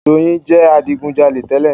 Doyin jẹ adigujalè tẹ́lẹ̀.